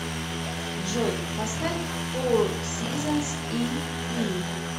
джой поставь фор сизонс ипи